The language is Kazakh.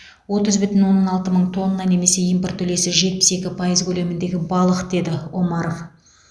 отыз бүтін оннан алты мың тонна немесе импорт үлесі жетпіс екі пайыз көлеміндегі балық деді омаров